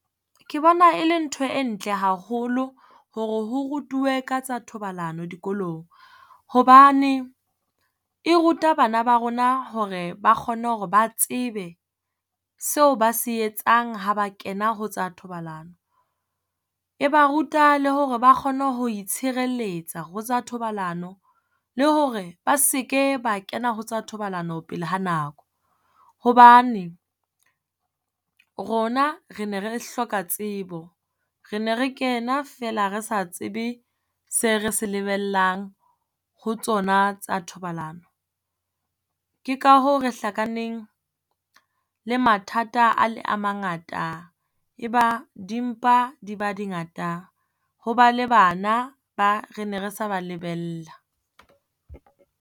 Ke bona e le ntho e ntle haholo hore ho rutuwe ka tsa thobalano dikolong. Hobane e ruta bana ba rona hore ba kgone hore ba tsebe seo ba se etsang ha ba kena ho tsa thobalano. E ba ruta le hore ba kgone ho itshireletsa ho tsa thobalano, le hore ba se ke ba kena ho tsa thobalano pele ha nako. Hobane rona re ne re hloka tsebo, re ne re kena feela re sa tsebe se re se lebellang ho tsona tsa thobalano. Ke ka hoo re hlakaneng le mathata a le a mangata. E ba dimpa di ba di ngata, ho ba le bana ba re ne re sa ba lebella.